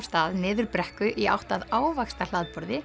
stað niður brekku í átt að